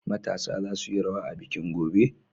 Matasa za su yi rawa a bikin, gobe!